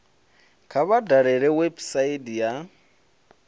kha vha dalele website ya